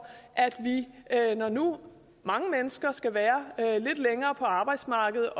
når nu mange mennesker skal være lidt længere på arbejdsmarkedet at